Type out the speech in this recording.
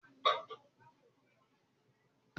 Gbogbo àwọn ààmì àìsàn tọ́ka sí pé Ọkàn rẹ̀ le è kọ ṣẹ́ sílẹ̀.